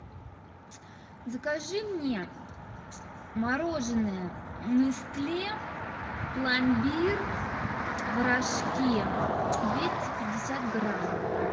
закажи мне мороженое нестле пломбир в рожке двести пятьдесят грамм